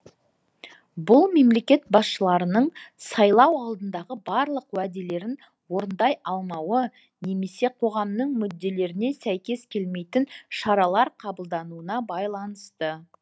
бұл мемлекет басшыларының сайлау алдындағы барлық уәделерін орындай алмауы немесе қоғамның мүдделеріне сәйкес келмейтін шаралар қабылдануына байланысты